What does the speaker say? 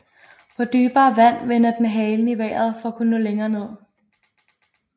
På dybere vand vender den halen i vejret for at kunne nå længere ned